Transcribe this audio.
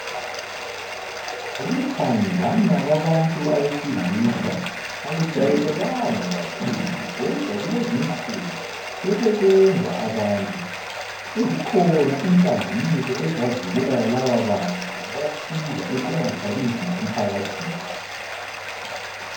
Ukuthandana kwabantu abesilisa akujayelekanga kakhulu kodwa kulezinsuku sebekwenza abantu sezikhona inhlanganiso ezibavikelayo lababantu zibasiza ukuthi bangathwalinzima emphakathini